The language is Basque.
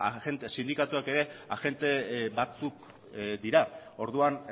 agente sindikatuak ere agente batzuk dira orduan